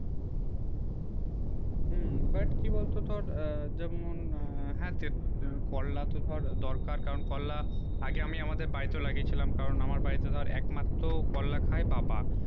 হম but কি বল তো তোর যেমন হাতে করলা তো ধর দরকার কারণ করলা আগে আমি আমাদের বাড়িতে লাগিয়ে ছিলাম কারণ আমার বারী তে ধর একমাত্র করলা খায়ে বাবা